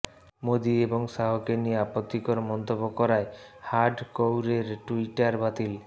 মোদী এবং শাহকে নিয়ে আপত্তিকর মন্তব্য করায় হার্ড কউরের টুইটার বাতিল